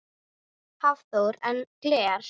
Hafþór: En gler?